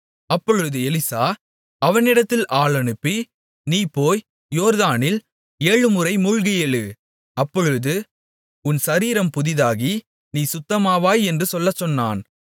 அப்பொழுது எலிசா அவனிடத்தில் ஆள் அனுப்பி நீ போய் யோர்தானில் ஏழுமுறை மூழ்கி எழு அப்பொழுது உன் சரீரம் புதிதாகி நீ சுத்தமாவாய் என்று சொல்லச்சொன்னான்